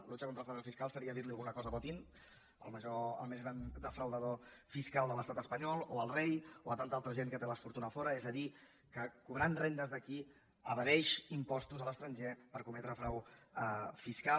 lucha contra el fraude fiscal seria dir alguna cosa a botín el més gran defraudador fiscal de l’estat espanyol o al rei o a tanta altra gent que té la fortuna a fora és a dir que cobrant rendes d’aquí evadeix impostos a l’estranger per cometre frau fiscal